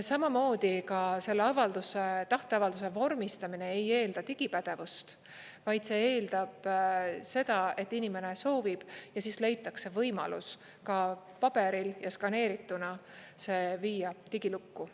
Samamoodi ka selle avalduse, tahteavalduse vormistamine ei eelda digipädevust, vaid see eeldab seda, et inimene soovib, ja siis leitakse võimalus ka paberil ja skaneerituna see viia digilukku.